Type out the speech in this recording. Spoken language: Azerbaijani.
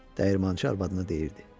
dəyirmançı arvadına deyirdi.